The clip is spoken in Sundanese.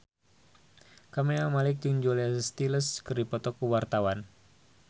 Camelia Malik jeung Julia Stiles keur dipoto ku wartawan